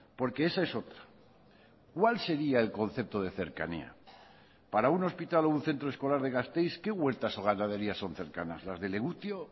porque esa es otra cuál sería el concepto de cercanía para un hospital o un centro escolar de gasteiz qué huertas o ganaderías son cercanas las de legutio